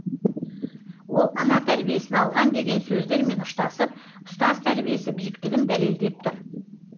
ол ана тәрбиесін алған деген сөздермен ұштасып ұстаз тәрбиесі биіктігін дәлелдеп тұр